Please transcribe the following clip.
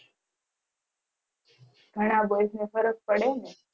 ઘણા boys માં ફરક પડે ને